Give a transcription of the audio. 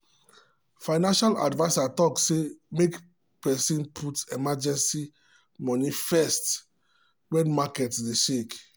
financial adviser talk say make person put emergency moni first when market dey shake.